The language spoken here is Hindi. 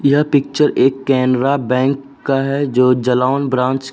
यह पिक्चर एक कैनरा बैंक का है जो जालौन ब्रांच --